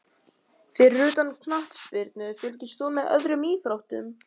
Fyrir utan knattspyrnu, fylgist þú með öðrum íþróttum?